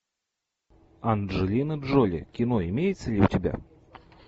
анджелина джоли кино имеется ли у тебя